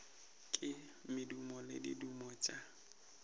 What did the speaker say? ke madimo le diaduma tša